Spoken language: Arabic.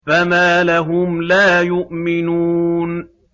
فَمَا لَهُمْ لَا يُؤْمِنُونَ